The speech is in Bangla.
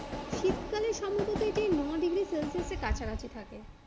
শীতকালে সম্ভবত এটি নয় ডিগ্রি সেলসিয়াসের কাছাকাছি থাকে